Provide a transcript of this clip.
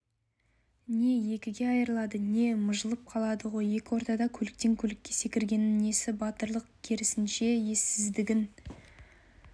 не екіге айырылады не мыжылып қалады ғой екі ортада көліктен көлікке секіргеннің несі батырлық керісінше ессіздігін